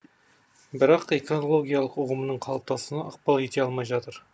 бірақ экологиялық ұғымның қалыптасуына ықпал ете алмай жатыр